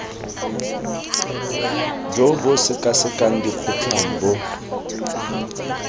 jo bo sekasekang dikgotlang bo